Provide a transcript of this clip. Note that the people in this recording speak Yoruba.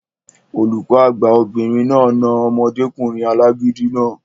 Olùkọ́ àgbà obìnrin náà na omọdékùnrin alágídí náà